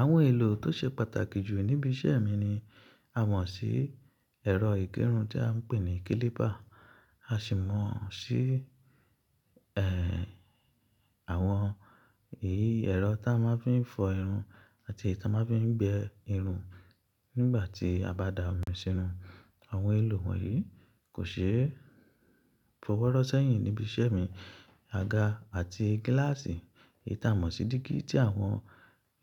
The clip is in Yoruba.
Àwọn èlò tó ṣe pàtàkì jù níbi iṣẹ́ mi ni a mọ̀ sí ẹ̀rọ ìgẹrun tí a ń pè ní kílíbà, a sì mọ̀ sí ẹ́ àwọn èyí ẹ̀rọ tí a máa ń fi fọ irun àti èyí tí a máa ń fi gbẹ irun nígbà tí a bá da omi sínú. Àwọn èlò wọ̀nyí kò ṣeé fọwọ́ rọ́ sẹ́yìn níbi iṣẹ́ mi. Aga àti gíláàsì, ìtámọ̀ sí dígí tí àwọn